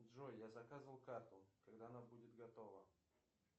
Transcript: джой я заказывал карту когда она будет готова